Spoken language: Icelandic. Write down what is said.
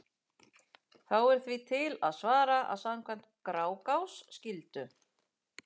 Þá er því til að svara að samkvæmt Grágás skyldu